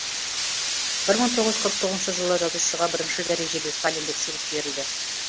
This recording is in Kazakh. бір мың тоғыз жүз қырық тоғызыншы жылы жазушыға бірінші дәрежелі сталиндік сыйлық берілді